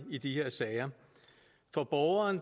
i de her sager for borgeren